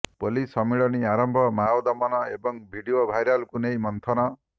police ସମ୍ମିଳନୀ ଆରମ୍ଭ ମାଓ ଦମନ ଏବଂ ଭିଡିଓ ଭାଇରାଲକୁ ନେଇ ମନ୍ଥନ